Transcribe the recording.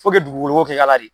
Fo ke y'a la de